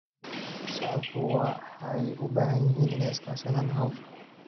Shacabku waxay u baahan yihiin inay iska kaashadaan hawsha.